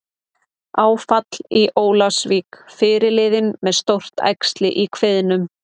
Áfall í Ólafsvík- Fyrirliðinn með stórt æxli í kviðnum